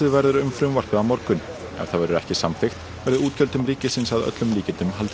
verður um frumvarpið á morgun ef það verður ekki samþykkt verður útgjöldum ríkisins að öllum líkindum haldið